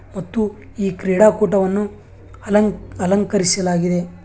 ಮತ್ತು ಈ ಕ್ರೀಡಾಕೂಟವನ್ನು ಅಲನ್ ಅಲಂಕರಿಸಲಾಗಿದೆ.